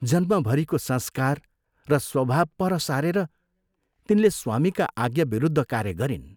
जन्मभरिको संस्कार र स्वभाव पर सारेर तिनले स्वामीका आज्ञा विरुद्ध कार्य गरिन्।